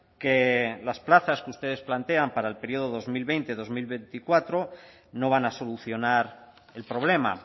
que las plazas que ustedes plantean para el período dos mil veinte dos mil veinticuatro no van a solucionar el problema